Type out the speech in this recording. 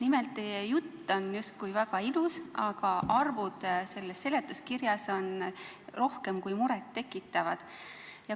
Teie jutt on justkui väga ilus, aga arvud selles seletuskirjas on rohkem kui muret tekitavad.